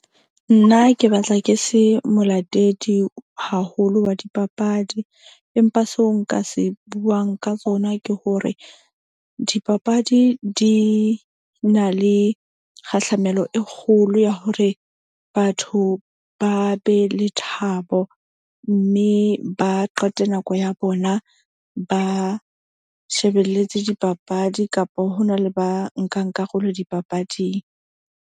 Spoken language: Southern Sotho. Nna ke batla ke se molatedi haholo wa dipapadi. Empa seo nka se buang ka tsona ke hore dipapadi di na le kgahlamelo e kgolo ya hore batho ba be le thabo. Mme ba qete nako ya bona, ba shebelletse dipapadi kapa ho na le ba nkang karolo dipapading.